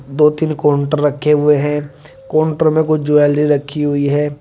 दो तीन काउंटर रखे हुए हैं काउंटर में कुछ ज्वेलरी रखी हुई है।